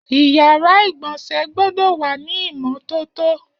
Iyàrá igbọnsẹ̀ gbọdọ wà ni imọ tótó